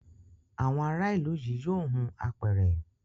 Àwọn ara ilú yí yóò hun àpẹrẹ